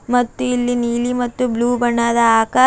ಮತ್ತು ಇಲ್ಲಿ ನೀಲಿ ಮತ್ತು ಬ್ಲೂ ಬಣ್ಣದ ಆಕ--